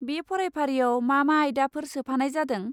बे फरायफारियाव मा मा आयदाफोर सोफानाय जादों?